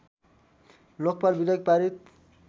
लोकपाल विधेयक पारित